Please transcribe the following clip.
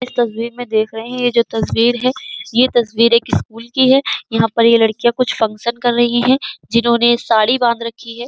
इस तस्बीर मे देख रहे है ये जो तस्वीर है ये तस्वीर एक स्कूल की है। यहाँ पर ये लड़कियाँ कुछ फंक्शन कर रही हैं जिन्होंने साड़ी बांध रखी हैं।